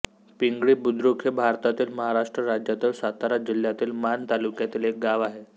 पिंगळी बुद्रुक हे भारतातील महाराष्ट्र राज्यातील सातारा जिल्ह्यातील माण तालुक्यातील एक गाव आहे